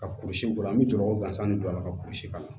Ka kurusi bɔn an bɛ jɔrɔ o gansan ni don a la ka kurusi ka na